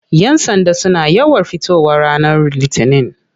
Yan sanda suna yawan fitowa ranar litinin.